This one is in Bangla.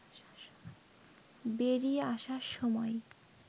বেরিয়ে আসার সময়